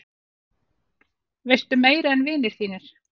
Veistu meira en vinir þínir?